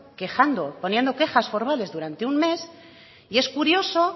quejando poniendo quejas formales durante un mes y es curioso